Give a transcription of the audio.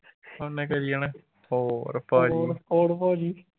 ਉਹਨੇ ਕਰੀ ਜਾਣਾ ਹੋਰ ਭਾਜੀ